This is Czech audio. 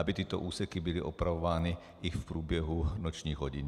Aby tyto úseky byly opravovány i v průběhu nočních hodin.